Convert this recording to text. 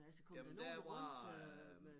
Jamen der var øh